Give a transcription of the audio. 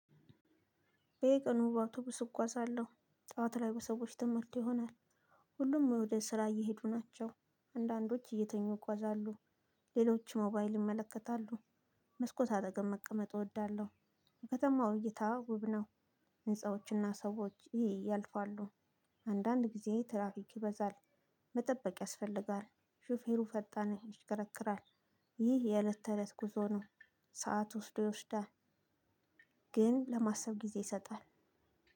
በየቀኑ በአውቶቡስ እጉአዛለሁ ጠዋትላይ በሰወች ተሞልቶ ይሆናል። ሁሉም ወደስራ እየሄዱ ይገኛሉ አንዳንዶች እየተኙ ይጎዛሉ። ሌሎች ሞባይል ይመለከታሉ። የከተማው እይታ ውብ ነው። አንዳንድ ጊዜ ትራፊክ ይበዛል። መጠበቅ ያስፈልጋል ሹፌሩ ፈጣን ይሽከረከራል። ይህ የእለት ተእለት ጉዞ ነው። ሰዓት ወስዶ ይወስዳል። ግን ለማሰብ ጊዜ ይሰጣል።